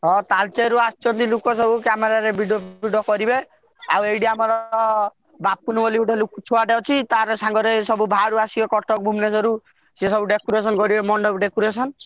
ହଁ ତାଳଚେରଋ ଆସିଛନ୍ତି ଲୋକ ସବୁ camera ରେ video ଫିଡିଓ କରିବେ ଆଉ ଏଠି ଆମର ବାପୁନି ବୋଲି ଗୋଟେ ଲୋକ୍~ ଛୁଆଟେ ଅଛି ତାର ସାଙ୍ଗରେ ସବୁ ବାହାରୁ ଆସିବେ କଟକ ଭୁବନେଶ୍ବରରୁ ସେ ସବୁ decoration କରିବେ ମଣ୍ଡପ decoration ।